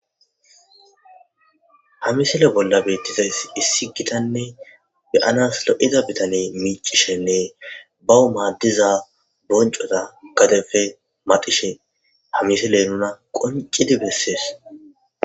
hamisile bolla beettizays issi gitanne beyanas lo7ida bitane miicishenne bau maaddiza boncota gadefe madishe hamisiley nuna qoncidi bessees